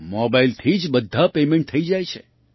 મોબાઇલથી જ બધાં પેમેન્ટ થઈ જાય છે